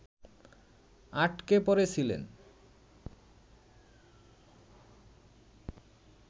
আটকে পড়েছিলেন